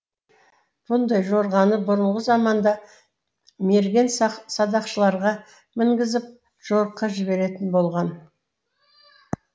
бұндай жорғаны бұрынғы заманда мерген садақшыларға мінгізіп жорыққа жіберетін болған